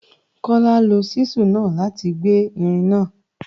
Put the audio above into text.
Kọ́lá lo ṣísù náà láti gbẹ́ irin náà